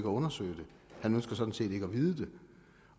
undersøge det han ønsker sådan set ikke at vide det